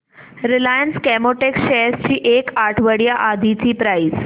Reliance Chemotex shares ची एक आठवड्या आधीची प्राइस